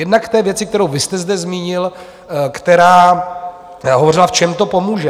Jednak k té věci, kterou vy jste zde zmínil, která hovořila, v čem to pomůže.